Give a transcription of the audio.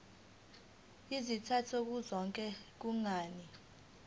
izizathu zokuthi kungani